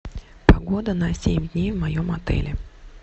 погода на семь дней в моем отеле